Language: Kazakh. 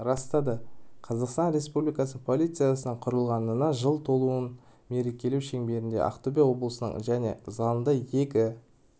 растады қазақстан республикасы полициясының құрылғанына жыл толуын мерекелеу шеңберінде ақтөбе облысының және залында екі